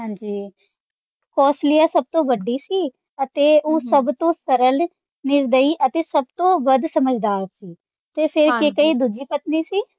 ਹਾਂਜੀ ਕੌਸ਼ਲਿਆ ਸੱਭ ਤੋਂ ਵੱਡੀ ਸੀ ਅਤੇ ਉਂ ਸੱਭ ਤੋਂ ਸਰਲ, ਨਿਰਦਈ ਅਤੇ ਸੱਭ ਤੋਂ ਵੱਧ ਸਮਜਦਾਰ ਤੇ ਫ਼ੇਰ ਕੇਕਈ ਦੂਜੀ ਪਤਨੀ ਸੀ,